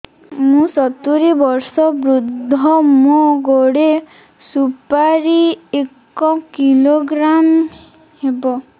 ମୁଁ ସତୂରୀ ବର୍ଷ ବୃଦ୍ଧ ମୋ ଗୋଟେ ସୁପାରି ଏକ କିଲୋଗ୍ରାମ ହେବ